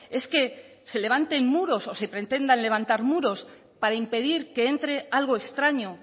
es que se levanten muros o se pretendan levantar muros para impedir que entre algo extraño